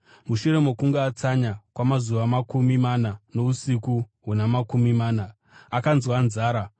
Mushure mokunge atsanya kwamazuva makumi mana nousiku huna makumi mana, akanzwa nzara.